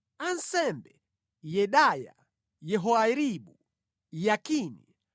Ansembe: Yedaya, Yehoyaribu; Yakini;